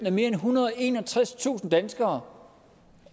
end ethundrede og enogtredstusind danskere